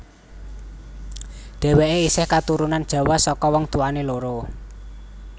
Dhéwéké isih katurunan Jawa saka wong tuwané loro